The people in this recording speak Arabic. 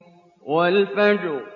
وَالْفَجْرِ